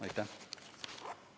Aitäh!